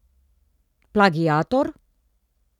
Plagiator?